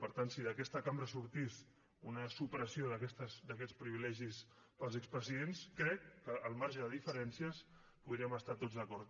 per tant si d’aquesta cambra sortís una supressió d’aquests privilegis per als expresidents crec que al marge de diferències hi podríem estar tots d’acord